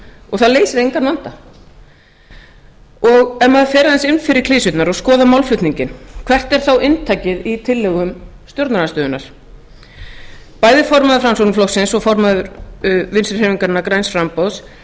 og það leysir engan vanda ef maður fer aðeins inn fyrir klisjurnar og skoðar málflutninginn hvert er þá inntakið í tillögum stjórnarandstöðunnar bæði formaður framsóknarflokksins og formaður vinstri hreyfingarinnar græns framboðs